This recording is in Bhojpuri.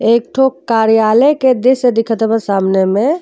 एकठो कार्यालय के दृश्य दिखत सामने में।